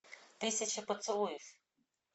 тысяча поцелуев